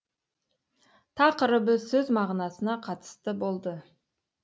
тақырыбы сөз мағынасына қатысты болды